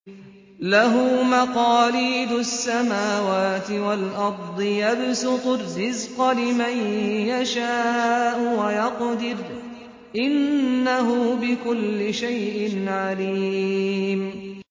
لَهُ مَقَالِيدُ السَّمَاوَاتِ وَالْأَرْضِ ۖ يَبْسُطُ الرِّزْقَ لِمَن يَشَاءُ وَيَقْدِرُ ۚ إِنَّهُ بِكُلِّ شَيْءٍ عَلِيمٌ